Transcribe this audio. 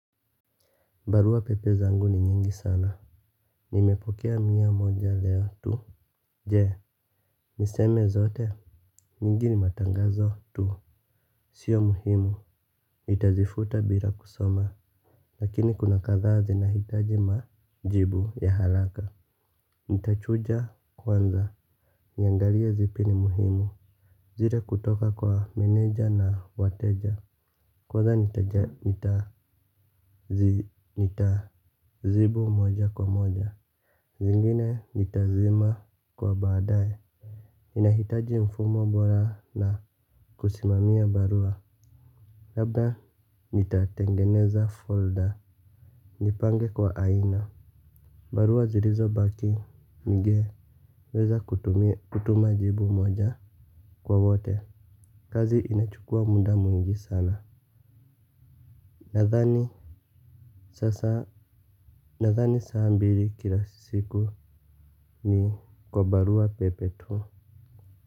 Barua pepe zangu ni nyingi sana. Nimepokea mia moja leo tu. Je, niseme zote. Nyingi ni matangazo tu. Sio muhimu nitazifuta bila kusoma. Lakini kuna kadhaa zinahitaji majibu ya haraka nitachuja kwanza. Niangalie zipi ni muhimu. Zile kutoka kwa meneja na wateja. Kwanza nitazibu moja kwa moja. Zingine nitazima kwa baadae. Inahitaji mfumo bora na kusimamia barua labda nitatengeneza folder. Nipange kwa aina. Barua zirizobaki ngeweza kutuma jibu moja kwa wote. Kazi inachukua muda mwingi sana. Nadhani sasa nadhani saa mbili kila siku ni kwa barua pepe tu.